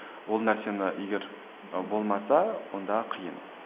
ол нәрсені егер ы болмаса онда қиын